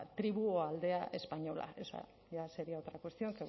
tribu aldea española ya sería otra cuestión